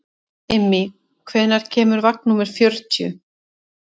Immý, hvenær kemur vagn númer fjörutíu?